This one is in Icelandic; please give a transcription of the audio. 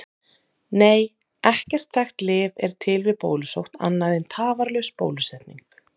Nei, ekkert þekkt lyf er til við bólusótt annað en tafarlaus bólusetning.